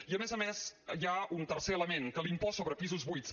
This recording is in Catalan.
i a més a més hi ha un tercer element que l’impost sobre pisos buits